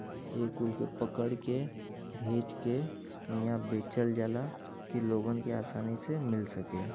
एह खुल के पकड़ के भेच के इहां बेचल जाला कि लोगन के आसानी से मिल सके।